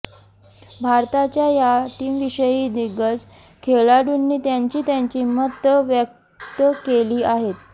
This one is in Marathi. भारताच्या या टीमविषयी दिग्गज खेळाडूंनी त्यांची त्यांची मतं व्यक्त केली आहेत